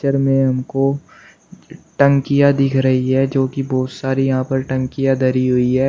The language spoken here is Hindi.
चित्र में हम को टैंकियां दिख रही हैं जो कि बहुत सारी यहाँ पे टैंकियां धरी हुई है।